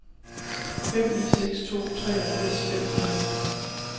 fem ni seks to treogfirs fem hundrede